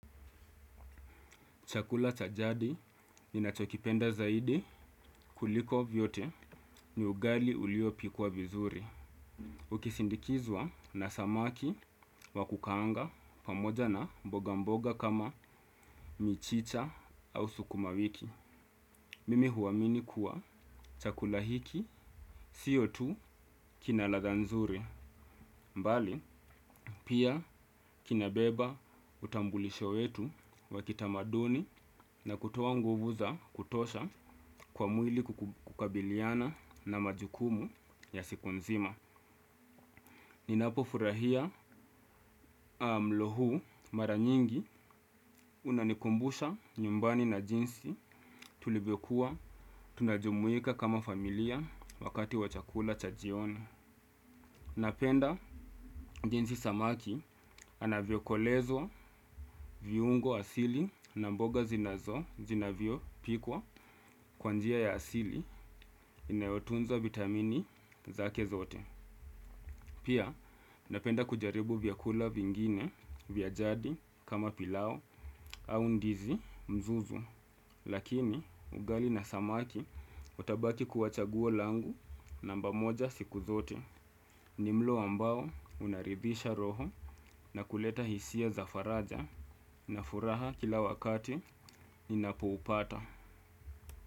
Chakula cha jadi ninachokipenda zaidi kuliko vyote ni ugali uliopikwa vizuri. Ukisindikizwa na samaki wa kukaanga pamoja na mboga mboga kama michicha au sukumawiki. Mimi huamini kuwa chakula hiki sio tu kina ladha nzuri. Bali, pia kinabeba utambulisho wetu wa kitamaduni na kutoa nguvu za kutosha kwa mwili kukabiliana na majukumu ya siku nzima. Ninapo furahia mlo huu, mara nyingi unanikumbusha nyumbani na jinsi tulivyokuwa tunajumuika kama familia wakati wa chakula cha jioni. Napenda jensi samaki anavyokolezwa viungo asili na mboga zinavyo pikwa kwa njia ya asili inayotunza vitamini zake zote. Pia napenda kujaribu vyakula vingine vya jadi kama pilau au ndizi mzuzu. Lakini ugali na samaki utabaki kuwa chaguo langu namba moja siku zote. Ni mlo ambao unaridhisha roho na kuleta hisia za faraja na furaha kila wakati ninapoupata.